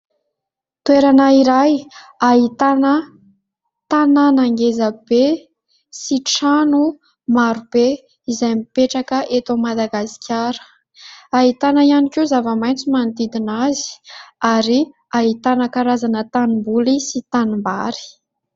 Toerana iray ahitana tananan geza be sy trano maro be izay mipetraka eto Madagasikara. Hahitana ihany koa zava-maintso manodidina azy, ary hahitana karazana tanim-boly sy tanimbary.